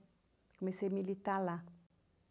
Comecei a militar lá.